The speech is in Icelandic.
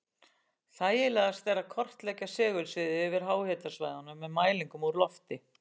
Þægilegast er að kortleggja segulsviðið yfir háhitasvæðunum með mælingum úr lofti.